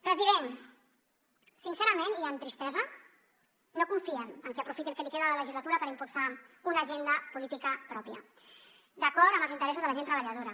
president sincerament i amb tristesa no confiem en que aprofiti el que li queda de legislatura per impulsar una agenda política pròpia d’acord amb els interessos de la gent treballadora